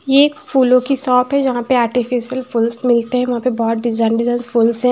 ये एक फूलों की शॉप है जहां पे आर्टिफिशियल फूल्स मिलते हैं वहां पे बहुत डिजाइन डिजाइन फूल्स हैं।